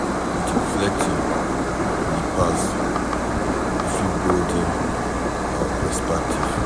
With reflecting on di past we fit broaden our perspective